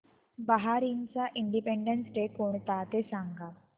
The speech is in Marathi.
बहारीनचा इंडिपेंडेंस डे कोणता ते सांगा